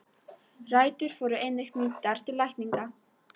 Rætur voru einnig nýttar til lækninga.